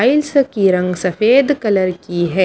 Hence की रंग सफेद कलर की है।